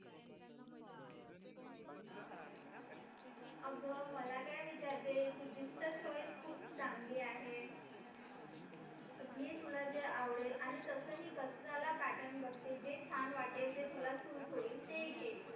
तू मला काय विचारते तुझीच तर चॉईस खूप चांगली आहे घे तुला जे आवडेल आणि तसंही कशाला पॅटर्न बघते जे छान वाटेल जे तुला सूट होईल ते घे तू